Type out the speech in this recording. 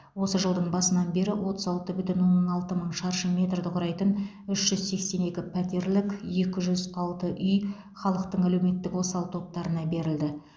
осы жылдың басынан бері отыз алты бүтін оннан алты мың шаршы метрді құрайтын үш жүз сексен екі пәтерлік екі жүз алты үй халықтың әлеуметтік осал топтарына берілген